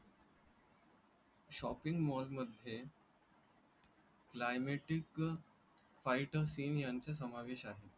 shopping mall मध्ये. climatic fight seen यांचा समावेश आहे.